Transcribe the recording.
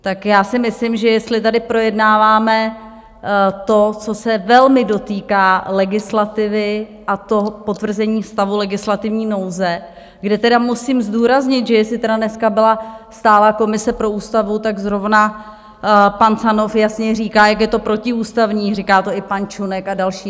Tak já si myslím, že jestli tady projednáváme to, co se velmi dotýká legislativy, a to potvrzení stavu legislativní nouze, kde tedy musím zdůraznit, že jestli tedy dneska byla stálá komise pro ústavu, tak zrovna pan Canov jasně říká, jak je to protiústavní, říká to i pan Čunek a další.